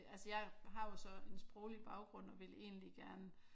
Altså jeg har jo så en sproglig baggrund og vil egentlig gerne